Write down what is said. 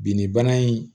Binnibana in